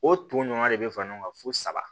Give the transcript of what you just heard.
O ton ɲɔgɔn de bɛ fara ɲɔgɔn kan fo saba